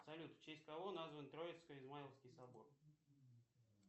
салют в честь кого назван троицко измайловский собор